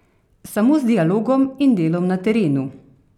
Samo z dialogom in delom na terenu.